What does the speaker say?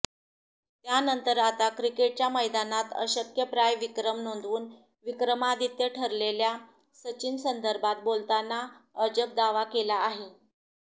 त्यानंतर आता क्रिकेटच्या मैदानात अशक्यप्राय विक्रम नोंदवून विक्रमादित्य ठरलेल्या सचिनसंदर्भात बोलताना अजब दावा केला आहे